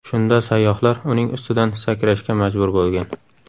Shunda sayyohlar uning ustidan sakrashga majbur bo‘lgan.